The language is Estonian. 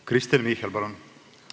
Kristen Michal, palun!